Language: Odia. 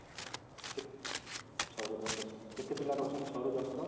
୬ ରୁ ୧୦ ଅଛନ୍ତି କେତେ ପିଲା ରହୁଛନ୍ତି ୬ ରୁ ୧୦ ତକ